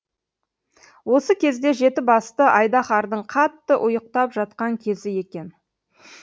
осы кезде жеті басты айдаһардың қатты ұйықтап жатқан кезі екен